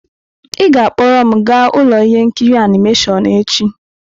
Ị ga-akpọrọ m gaa ụlọ ihe nkiri animation echi!